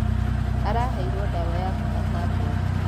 Araheirwo ndawa ya kūhaka ngothi